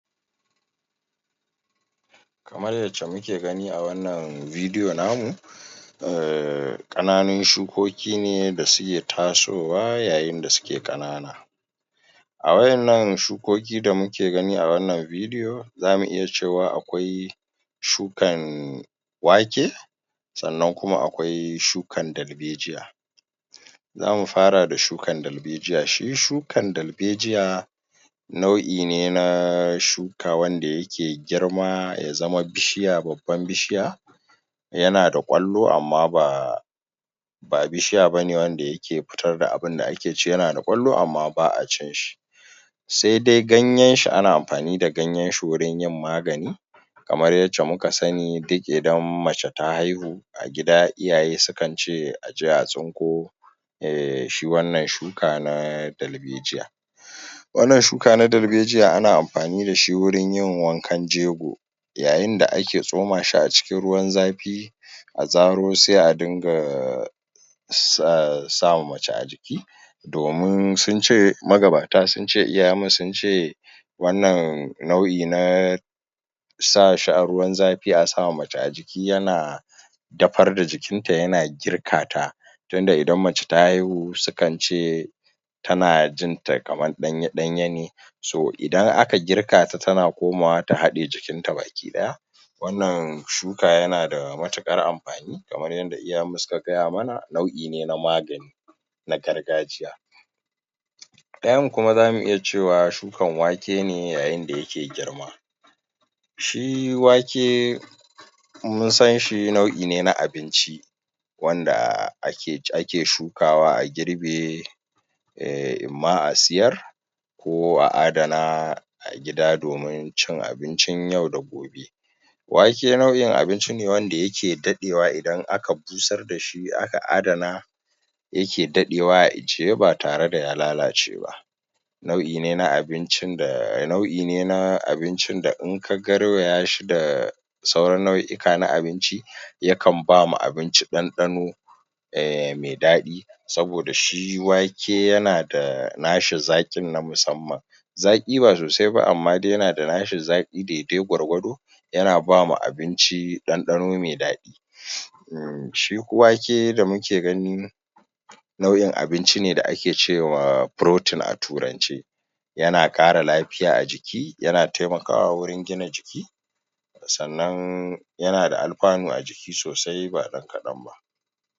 Kamar yacce muke gani a wannan video namu um ƙananan shukoki ne da suke tasowa yayin da suke Ƙanana a wadannan shukoki da muke gani a wannan video zamu iya cewa akwai shukan wake, sannan kuma akwai shukan dalbejiya. Zamu fara da shukan dalbejiya shi shukan dalbejiya nau'i ne ne shuka wanda yake girma ya zama bishiya babban bishiya yanada ƙwallo amma ba ba bishiya bane wanda yake fitarda abinda akeci yanada kwallo amma baa cin Saidai gayyenshi ana amfani da ganyen wurin yin magani kamar Ƴacce muka sani idan mace ta haihu a gida iyaye sukance aje a tsinko a gida iyaye sukance aje a tsinko um shi wannan shuka na dalbejiya. Wannan shuka na dalbejiya ana amfani dashi wurin yin wankan jego, yayinda ake tsomashi a cikin ruwan zafi a zaro sai a dinga sama mace a jiki domin sunce magabata sunce iyayenmu sunce wannan nau'i na sa shi a ruwan zafi a sama mace a jiki yana dafar da jikinta yana girkata tunda idan mace ta haihu sukance tana jinta kaman ɗanya ɗanya so, idan aka girkata tana komawa ta hade jikinta baki daya. Wannan shuka yanada matukar amfani kamar yadda iyayenmu suka gaya mana nauʼi ne na magani na gargajiya. Ɗayan kuma zamu iya cewa shukan wake ne yayinda yake girma shi wake munsanshi nauʼi ne na abinci wanda ake shukawa a girbe inma a siyar koh a adana gida domin cin abincin yau da gobe. Wake nauʼin abinci ne wanda yake dadewa idan aka busar dashi aka adana yake dadewa a ajiye ba tareda ya lalace ba naui ne na abinci da um na abinci in ka garwaya shi da sauran nauika na abinci yakan bama abinci dandano um mai dadi saboda shi wake yanada um nashi dadi na musamman zaki ba sosai ba amma yanada nashi zakin daidai gwargwado yana bama abinci dandano mai dadi shi wake da muke gani nau'i ne na abinci da ake cewa protein a turance yana kara lafiya a jiki yana yana taimakawa wurin gina jiki sannan yana da amfani a jiki sosai ba dan kadan ba.